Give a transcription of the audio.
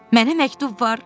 Mənə məktub var.